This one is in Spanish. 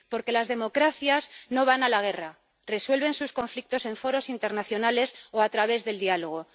Porque las democracias no van a la guerra resuelven sus conflictos en foros internacionales o a través del diálogo.